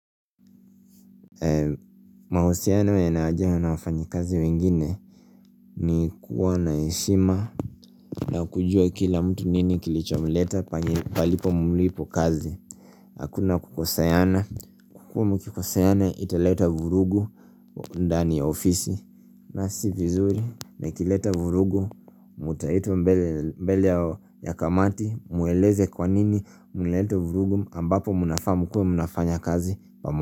Mahusiana yana haja na wafanyi kazi wengine. Ni kuwa na heshima na kujua kila mtu nini kilicho mleta palipo mulipo kazi. Hakuna kukoseana. Kwakua mkikoswana italeta vurugu ndani ya ofisi. Na si vizuri na nileta vurugu mutaitwa mbele ya kamati. Mueleze kwa nini mliletat vurugu ambapo munafaa mukue munafanya kazi pamoja.